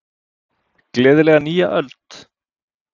Gleðilega nýja öld!